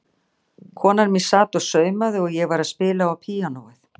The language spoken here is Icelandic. Konan mín sat og saumaði og ég var að spila á píanóið.